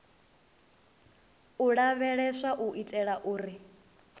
u lavheleswa u itela uri